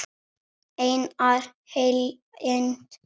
Einar Eyland.